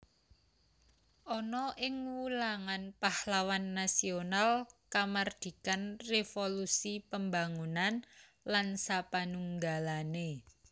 Ana ing wulangan pahlawan nasional kamardikan revolusi pembangunan lan sapanunggalane